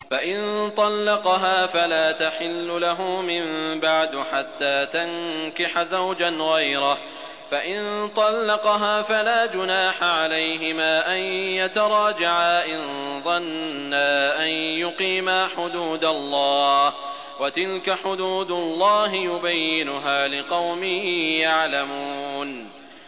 فَإِن طَلَّقَهَا فَلَا تَحِلُّ لَهُ مِن بَعْدُ حَتَّىٰ تَنكِحَ زَوْجًا غَيْرَهُ ۗ فَإِن طَلَّقَهَا فَلَا جُنَاحَ عَلَيْهِمَا أَن يَتَرَاجَعَا إِن ظَنَّا أَن يُقِيمَا حُدُودَ اللَّهِ ۗ وَتِلْكَ حُدُودُ اللَّهِ يُبَيِّنُهَا لِقَوْمٍ يَعْلَمُونَ